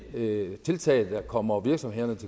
tiltag der kommer virksomhederne